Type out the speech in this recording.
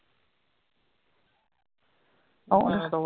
ਉਹਨੇ